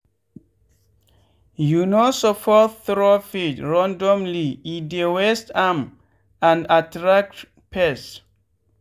you no suppose throw feed randomly e dey waste am and attract pests.